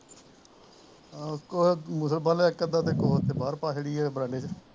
ਆਹੋ ਕੋਹਾਂ ਪਾਲਿਆ ਇੱਕ ਅੱਧਾ ਤੇ ਕਮਰੇ ਚ ਬਾਹਰ ਪਾ ਛੱਡੀ ਆ ਵਰਾਂਡੇ ਚ